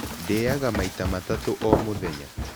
Ndĩaga maita matatũ o mũthenya.